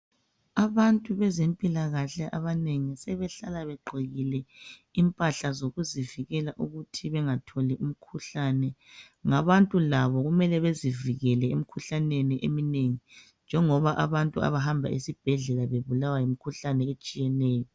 Abantu bezempilakahle abanengi sebehlala begqokile impahla zokuzivikela ukuthi bengatholi imkhuhlane ngabantu labo kumele bezivikele emkhuhlaneni eminengi njengoba abantu abahamba esibhedlela bebulawa yimikhuhlane eminengi